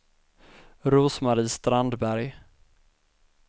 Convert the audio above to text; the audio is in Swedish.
Rose-Marie Strandberg